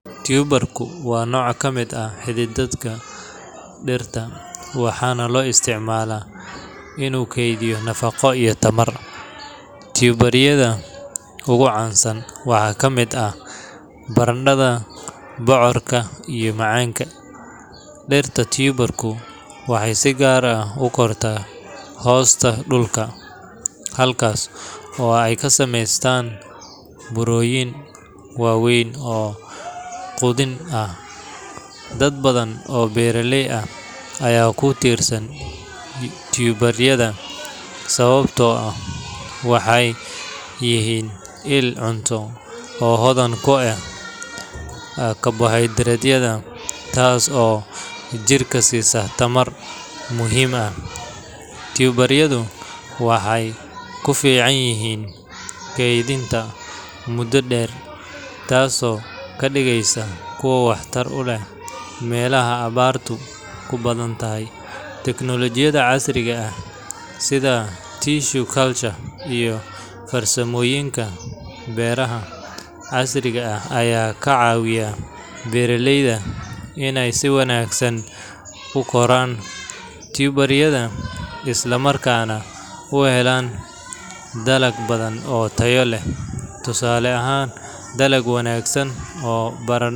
Tuber ku waa nooc ka mid ah xididdada dhirta, waxaana loo isticmaalaa inuu kaydiyo nafaqo iyo tamar. Tuber yada ugu caansan waxaa ka mid ah barandhada, bocorka, iyo macaanka. Dhirta tuber-ku waxay si gaar ah u kortaa hoosta dhulka, halkaas oo ay ka sameystaan burooyin waaweyn oo quudin ah. Dad badan oo beeraley ah ayaa ku tiirsan tuber-yada sababtoo ah waxay yihiin il cunto oo hodan ku ah karbohaydraytyada, taas oo jirka siisa tamar muhiim ah. Tuber-yadu waxay ku fiican yihiin kaydinta muddo dheer, taasoo ka dhigaysa kuwo waxtar u leh meelaha abaartu ku badan tahay. Teknoolajiyada casriga ah sida tissue culture iyo farsamooyinka beeraha casriga ah ayaa ka caawiya beeraleyda inay si wanaagsan u koraan tuber-yada, isla markaana u helaan dalag badan oo tayo leh. Tusaale ahaan, dalag wanaagsan oo barandho.